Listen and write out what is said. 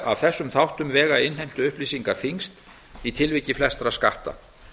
af þessum þáttum vega innheimtuupplýsingar þyngst í tilviki flestra skatta